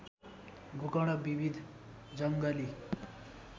गोकर्ण विविध जङ्गली